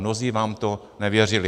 Mnozí nám to nevěřili.